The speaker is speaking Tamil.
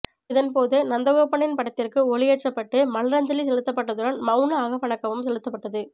இதன்போது நந்தகோபனின் படத்திற்கு ஒளியேற்றப்பட்டு மலரஞ்சலி செலுத்தப்பட்டதுடன் மௌன அகவணக்கமும் செலுத்தப்பட்டது